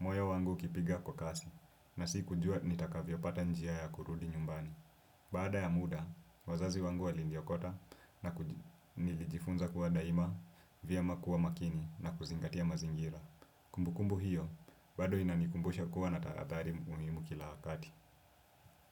moyo wangu ukipiga kwa kasi, na si kujua nitakavyo pata njia ya kurudi nyumbani. Baada ya muda, wazazi wangu waliniokota na nilijifunza kuwa daima vyema kuwa makini na kuzingatia mazingira. Kumbu kumbu hiyo, bado inanikumbusha kuwa natahadhari umimu kila hakati.